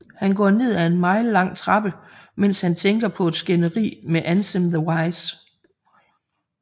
HAn går ned af en mile lang trappe mens han tænker på et skænderi med Ansem The Wise